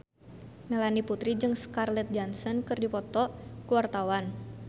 Melanie Putri jeung Scarlett Johansson keur dipoto ku wartawan